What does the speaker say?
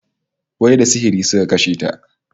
Wai da sihiri suka kashe ta?